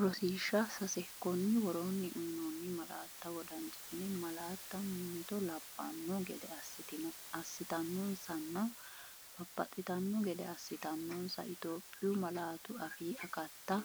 Rosiishsha Sase Konni woroonni uyinoonni malaatta wodanchitine malaatta mimmito lab- banno gede assitannonsanna babbaxxitanno gede assitannonsa Itophiyu malaatu afii akatta